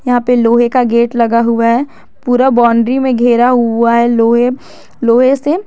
यहां पे लोहे का गेट लगा हुआ है पूरा बाउंड्री में घेरा हुआ है लोहे लोहे से।